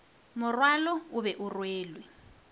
morwalo o be o rwelwe